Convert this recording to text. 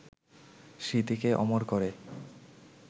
স্মৃতিকে অমর করে